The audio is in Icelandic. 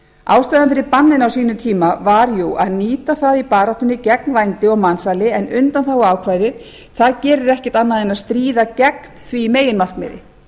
ástæðan fyrir banninu á sínum tíma var jú að nýta það í baráttunni gegn vændi og mansali en undanþáguákvæðið gerir ekkert annað en að stríð gegn því meginmarkmiði